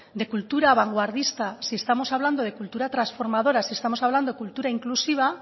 de cultura vanguardista si estamos hablando de cultura transformadora si estamos hablando de cultura inclusiva